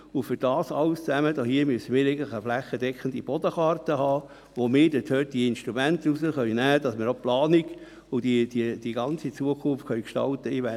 Für all dies brauchen wir eigentlich eine flächendeckende Bodenkarte, von welcher wir die Instrumente ableiten können, damit wir auch die Planung und die ganze Zukunft gestalten können.